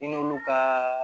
I n'olu ka